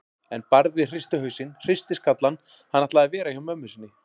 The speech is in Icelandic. En Barði hristi hausinn, hristi skallann, hann ætlaði að vera hjá mömmu sinni.